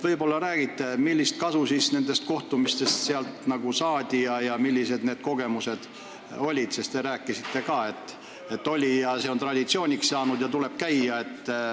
Võib-olla räägite, millist kasu sealsetest kohtumistest saadi ja milliseid kogemusi jagati, sest te rääkisite, et see on juba traditsiooniks saanud ja seal tuleb käia.